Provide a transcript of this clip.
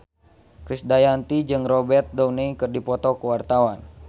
Krisdayanti jeung Robert Downey keur dipoto ku wartawan